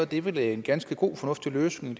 det vel en ganske god og fornuftig løsning